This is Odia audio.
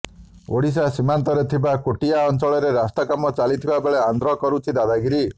ଓଡ଼ିଶା ସୀମାନ୍ତରେ ଥିବା କୋଟିଆ ଅଞ୍ଚଳରେ ରାସ୍ତା କାମ ଚାଲିଥିବା ବେଳେ ଆନ୍ଧ୍ର କରୁଛି ଦାଦାଗିରି